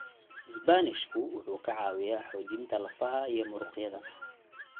Isbaanishku wuxuu ka caawiyaa xoojinta lafaha iyo muruqyada.